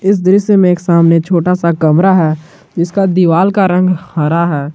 इस दृश्य में एक सामने छोटा सा कमरा है जिसका दीवाल का रंग हरा है।